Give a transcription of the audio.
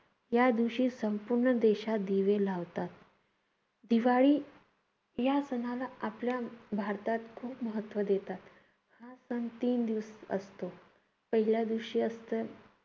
या दिवशी संपूर्ण देशात दिवे लावतात. दिवाळी या सणाला आपल्या भारतात खूप महत्त्व देतात. हा सण तीन दिवस असतो. पहिल्या दिवशी असतं